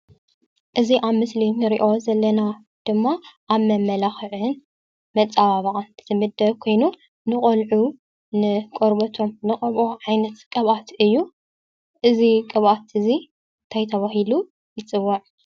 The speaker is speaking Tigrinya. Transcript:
እዚ አብ ምስሊ እንሪኦ ዘለና ድማ አብ መመላክዕን መፀባበቅን ዝምደብ ኮይኑ፤ ንቆልዑ ንቆርበቶም እንቀብኦ ዓይነት ቅብአት እዩ፡፡ እዚ ቅብአት እዚ እንታይ ተባሂሉ ይፅዋዕ?